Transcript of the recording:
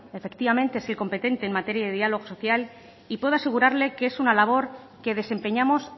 efectivamente es el competente en materia de diálogo social y puedo asegurarle que es una labor que desempeñamos